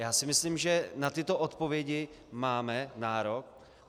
Já si myslím, že na tyto odpovědi máme nárok.